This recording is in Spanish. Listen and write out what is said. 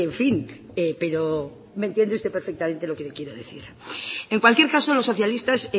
fin pero me entiende usted perfectamente lo que le quiero decir en cualquier caso los socialistas